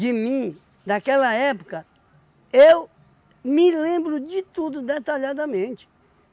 de mim, daquela época, eu me lembro de tudo detalhadamente.